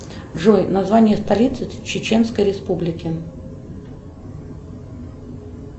джой название столицы чеченской республики